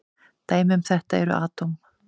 Dæmi um þetta eru atóm.